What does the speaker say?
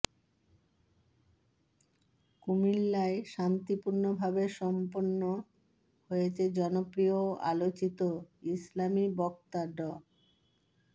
কুমিল্লায় শান্তিপূর্ণভাবে সম্পন্ন হয়েছে জনপ্রিয় ও আলোচিত ইসলামি বক্তা ড